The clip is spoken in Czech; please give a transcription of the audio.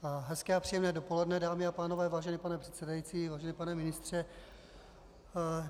Hezké a příjemné dopoledne, dámy a pánové, vážený pane předsedající, vážený pane ministře.